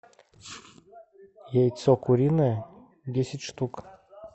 яйцо куриное десять штук